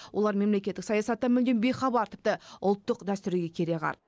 олар мемлекеттік саясаттан мүлдем бейхабар тіпті ұлттық дәстүрге кереғар